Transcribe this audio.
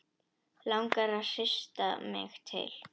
Langar að hrista mig til.